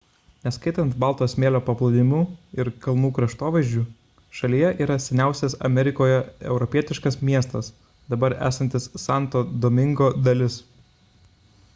neskaitant balto smėlio paplūdimių ir kalnų kraštovaizdžių šalyje yra seniausias amerikoje europietiškas miestas dabar esantis santo domingo dalis